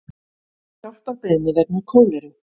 Hjálparbeiðni vegna kóleru